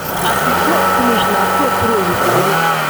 as we pluck finish na so throw way salute